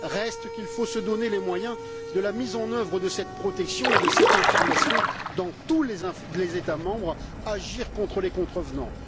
Reste qu'il faut se donner les moyens de la mise en œuvre de cette protection et de cette information dans tous les États membres et agir contre les contrevenants.